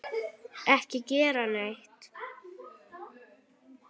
Ekki gera neitt.